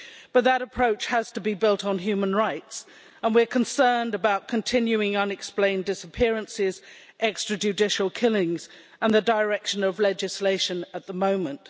But that approach has to be built on human rights, and we're concerned about continuing unexplained disappearances, extrajudicial killings and the direction of legislation at the moment.